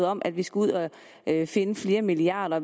om at vi skal ud at finde flere milliarder